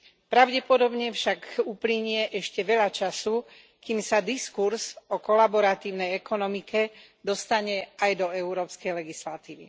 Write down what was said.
Pravdepodobne však uplynie ešte veľa času, kým sa diskurz o kolaboratívnej ekonomike dostane aj do európskej legislatívy.